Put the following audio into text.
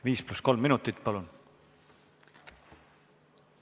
Viis pluss kolm minutit, palun!